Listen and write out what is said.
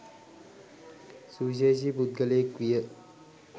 සුවිශේෂී පුද්ගලයෙක් විය.